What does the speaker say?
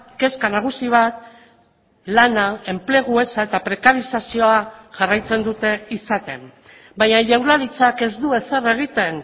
kezka nagusi bat lana enplegu eza eta prekarizazioa jarraitzen dute izaten baina jaurlaritzak ez du ezer egiten